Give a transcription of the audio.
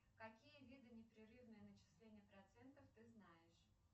какие виды непрерывного начисления процентов ты знаешь